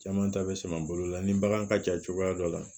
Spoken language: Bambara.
Caman ta bɛ sama bolo la ni bagan ka ja cogoya dɔ la